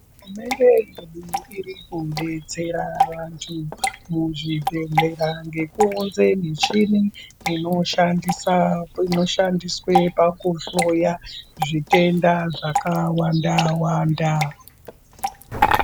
Hurumende irikudetsera vantu muzvibhedhlera nekuunze michini ino shandiswa pakuhloya zvitenda zvkawanda wanda.